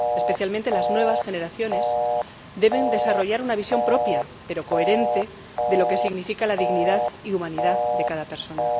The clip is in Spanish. Especialmente las nuevas generaciones deben desarrollar una visión propia pero coherente de lo que significa la dignidad y humanidad de cada persona.